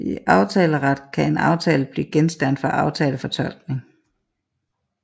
I aftaleret kan en aftale kan blive genstand for aftalefortolkning